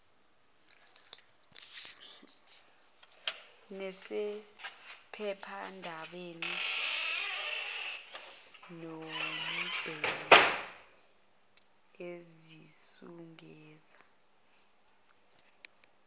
nasephephandabeni noabeni ezizungeza